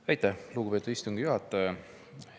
Aitäh, lugupeetud istungi juhataja!